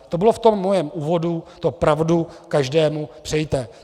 To bylo v tom mém úvodu, to pravdu každému přejte.